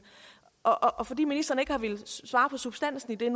og fordi ministeren nu ikke har villet svare på substansen i det